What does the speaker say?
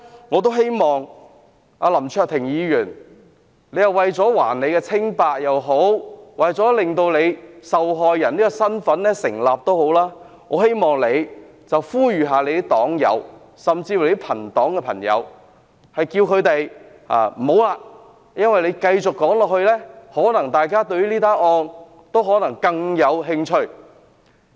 我希望對林卓廷議員說，他如果想還自己清白或令自己受害人身份成立，應呼籲黨友或友黨議員不要發言，因為他們繼續發言，可能令大家對事件更感興趣。